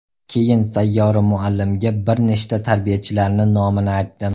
Keyin Sayyora muallimga bir nechta tarbiyalachilarni nomini aytdim.